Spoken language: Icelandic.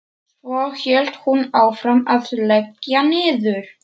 Svo hélt hún áfram að leggja niður.